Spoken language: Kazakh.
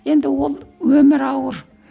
енді ол өмір ауыр